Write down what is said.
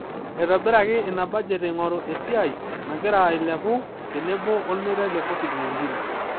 Eitobiraki ina budget eingori esiai nagira ailepu tenebo olmeitai le covid-19